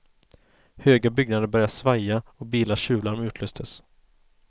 Höga byggnader började svaja och bilars tjuvlarm utlöstes.